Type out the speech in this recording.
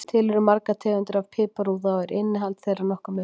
Til eru margar tegundir af piparúða og er innihald þeirra nokkuð mismunandi.